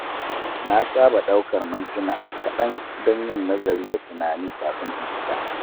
Na saba ɗaukar mintuna kaɗan don yin nazari da tunani kafin in fita.